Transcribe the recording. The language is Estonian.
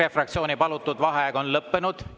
EKRE fraktsiooni palutud vaheaeg on lõppenud.